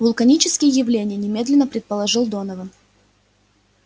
вулканические явления немедленно предположил донован